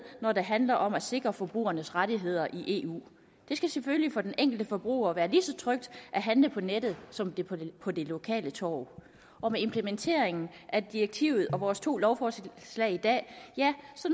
når det handler om at sikre forbrugernes rettigheder i eu for den enkelte forbruger være lige så trygt at handle på nettet som på det lokale torv med implementeringen af direktivet og vores to lovforslag i dag